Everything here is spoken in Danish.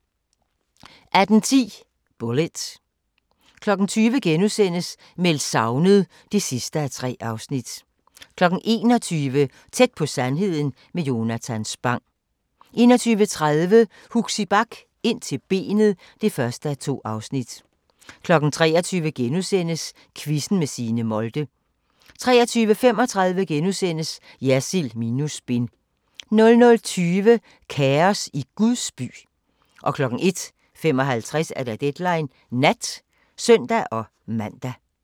18:10: Bullitt 20:00: Meldt savnet (3:3)* 21:00: Tæt på sandheden med Jonatan Spang 21:30: Huxi Bach - Ind til benet (1:2) 23:00: Quizzen med Signe Molde * 23:35: Jersild minus spin * 00:20: Kaos i Guds by 01:55: Deadline Nat (søn-man)